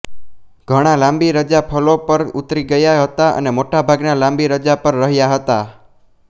ઘણા લાંબી રજા ફર્લો પર ઉતરી ગયા હતા અને મોટાભાગના લાંબી રજા પર રહ્યા હતા